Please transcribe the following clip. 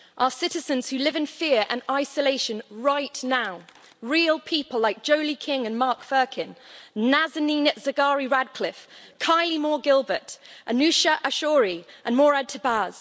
Our citizens who live in fear and isolation right now, real people like Jolie King and Mark Firkin, Nazanin Zaghari Ratcliffe, Kylie Moore Gilbert, Anoosheh Ashoori and Morad Tahbaz.